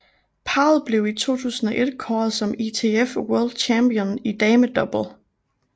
Parret blev i 2001 kåret som ITF World Champion i damedouble